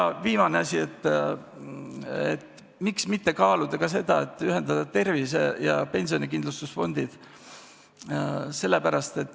Ja viimane asi: miks mitte kaaluda seda, et ühendada tervise- ja pensionikindlustusfondid?